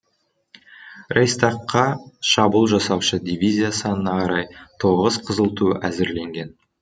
рейхстагқа шабуыл жасаушы дивизия санына қарай тоғыз қызыл ту әзірленген